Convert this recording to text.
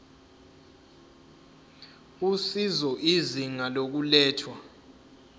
usizo izinga lokulethwa